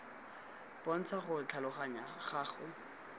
bontsha go tlhaloganya go go